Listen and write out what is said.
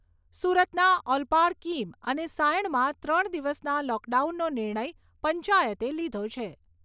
સુરતના ઓલપાડ કીમ અને સાયણમાં ત્રણ દિવસના લોકડાઉનનો નિર્ણય પંચાયતે લીધો છે.